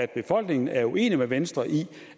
befolkningen er uenig med venstre i